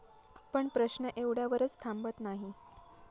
पण प्रश्न एवढ्यावरच थांबत नाही.